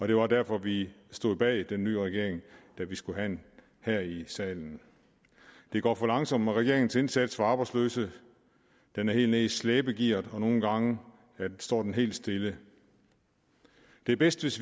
det var derfor vi stod bag den nye regering her i salen det går for langsomt med regeringens indsats over for arbejdsløsheden den er helt nede i slæbegear og nogle gange står den helt stille det er bedst hvis